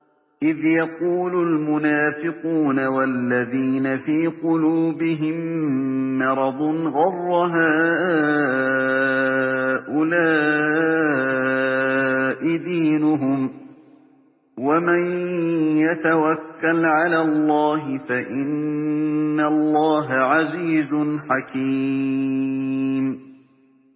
إِذْ يَقُولُ الْمُنَافِقُونَ وَالَّذِينَ فِي قُلُوبِهِم مَّرَضٌ غَرَّ هَٰؤُلَاءِ دِينُهُمْ ۗ وَمَن يَتَوَكَّلْ عَلَى اللَّهِ فَإِنَّ اللَّهَ عَزِيزٌ حَكِيمٌ